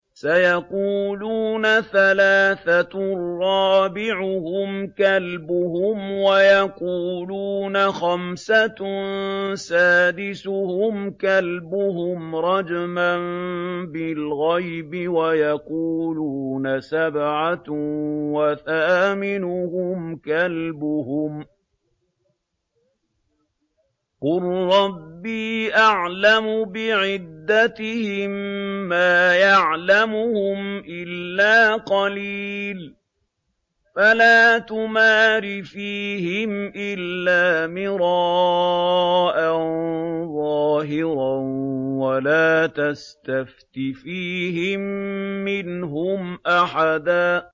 سَيَقُولُونَ ثَلَاثَةٌ رَّابِعُهُمْ كَلْبُهُمْ وَيَقُولُونَ خَمْسَةٌ سَادِسُهُمْ كَلْبُهُمْ رَجْمًا بِالْغَيْبِ ۖ وَيَقُولُونَ سَبْعَةٌ وَثَامِنُهُمْ كَلْبُهُمْ ۚ قُل رَّبِّي أَعْلَمُ بِعِدَّتِهِم مَّا يَعْلَمُهُمْ إِلَّا قَلِيلٌ ۗ فَلَا تُمَارِ فِيهِمْ إِلَّا مِرَاءً ظَاهِرًا وَلَا تَسْتَفْتِ فِيهِم مِّنْهُمْ أَحَدًا